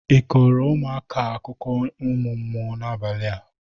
Ị kọrọ ụmụaka a akụkọ ụmụ mmụọ n'abalị a?